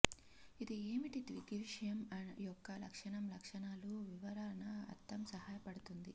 ఇది ఏమిటి దృగ్విషయం యొక్క లక్షణం లక్షణాలు వివరణ అర్థం సహాయపడుతుంది